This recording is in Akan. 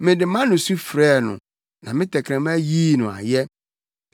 Mede mʼano su frɛɛ no; na me tɛkrɛma yii no ayɛ.